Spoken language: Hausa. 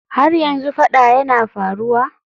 Har yanzu fada yana faruwa?